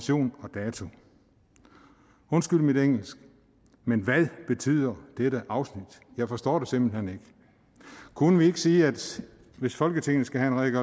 data undskyld mit engelsk men hvad betyder dette afsnit jeg forstår det simpelt hen ikke kunne vi ikke sige at hvis folketinget skal have en